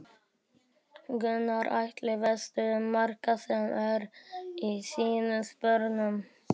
Gunnar Atli: Veistu um marga sem eru í þínum sporun?